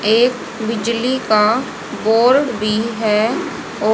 एक बिजली का बोर्ड भी है औ--